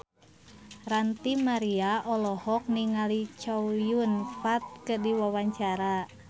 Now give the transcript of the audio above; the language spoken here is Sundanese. Ranty Maria olohok ningali Chow Yun Fat keur diwawancara